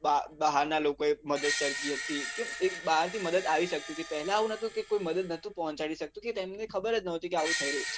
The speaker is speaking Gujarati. બહાર બહારના લોકો એ મદદ કરી હતી કે એક બહાર થી મદદ આવી શકતી હતી પેહલાં આવું નતુ કે કોઈ મદદ નહોતું પોહચાડી શકતું કે તેણીને ખબર જ નતી કે આવું થઇ રહ્યું છે